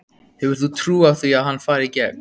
Hefur þú trú á því að hann fari í gegn?